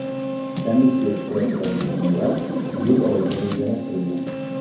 Komissiya ishtirokidagi tinglovlar iyul oyiga rejalashtirilgan.